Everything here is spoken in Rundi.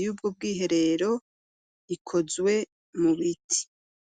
y'ubwo bwiherero ikozwe mu biti.